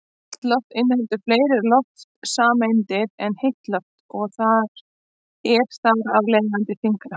Kalt loft inniheldur fleiri loftsameindir en heitt loft og er þar af leiðandi þyngra.